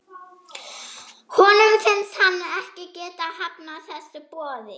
Honum finnst hann ekki geta hafnað þessu boði.